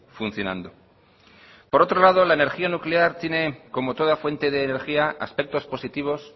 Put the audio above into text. funcionando por otro lado la energía nuclear tiene como toda fuente de energía aspectos positivos